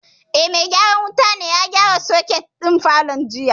Eh, mai gyaran wutan ya gyara soket din falon jiya